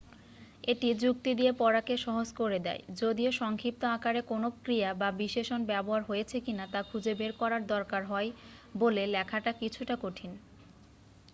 এটি যুক্তি দিয়ে পড়াকে সহজ করে দেয় যদিও সংক্ষিপ্ত আকারে কোনও ক্রিয়া বা বিশেষণ ব্যবহার হয়েছে কিনা তা খুঁজে বের করার দরকার হয় বলে লেখাটা কিছুটা কঠিন